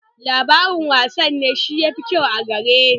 Labarin wasanni shi ne mafi kyau a gare ni.